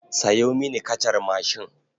Sayo mini kacar mashin.